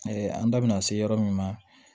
an da bɛna se yɔrɔ min ma